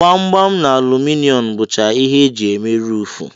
Gbam-gbam na aluminom bụcha ihe eji eme ruufu.